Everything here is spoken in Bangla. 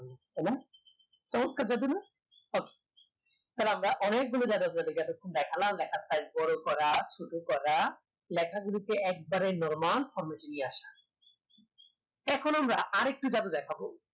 এবং তালে আমরা অনেক গুলো দেখলাম দেখার তাই বোরো পারা শুরু পাড়া লেখা গুলিতে একবারে normal format এ নিয়ে আসা এখন আমরা আর একটি জাদু দেখাবো